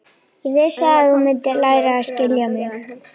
Ég vissi að þú mundir læra að skilja mig.